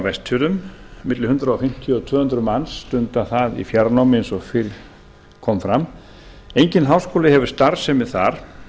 vestfjörðum milli hundrað fimmtíu og tvö hundruð manns stunda þar í fjarnámi eins og fyrr kom fram enginn háskóli hefur starfsemi þar